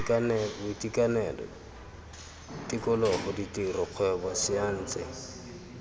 boitekanelo tikologo ditiro kgwebo saense